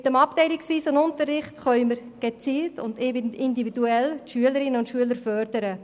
Mit dem abteilungsweisen Unterricht können wir gezielt und individuell die Schülerinnen und Schüler fördern.